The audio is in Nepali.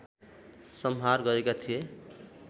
संहार गरेका थिए